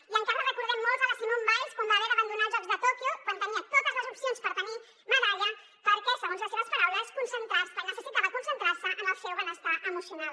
i encara recordem molts la simone biles quan va haver d’abandonar els jocs de tòquio quan tenia totes les opcions per tenir medalla perquè segons les seves paraules necessitava concentrar se en el seu benestar emocional